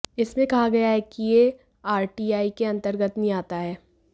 इसमे कहा गया है कि यह आरटीआई के अंतर्गत नहीं आता है